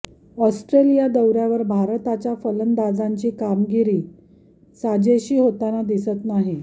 Australia दौऱ्यावर भारताच्या फलंदाजांची कामगिरी साजेशी होताना दिसत नाही